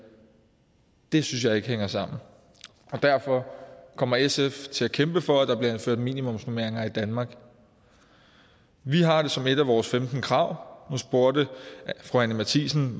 det synes jeg ikke hænger sammen og derfor kommer sf til at kæmpe for at der bliver indført minimumsnormeringer i danmark vi har det som et af vores femten krav nu spurgte fru anni matthiesen